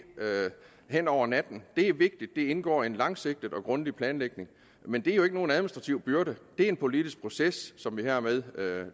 hen over natten det er vigtigt at det indgår i en langsigtet og grundig planlægning men det er jo ikke nogen administrativ byrde det er en politisk proces som vi hermed